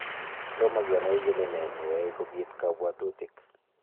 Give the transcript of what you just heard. Tomaa kenai kolee nee nayai kobiit kabwatutik